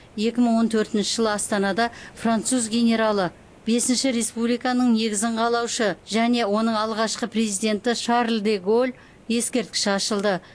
екі мың он төртінші жылы астанада француз генералы бесінші республиканың негізін қалаушы және оның алғашқы президенті шарль де голль ескерткіші ашылды